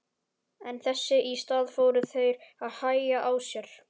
En þess í stað fóru þeir að hægja á sér.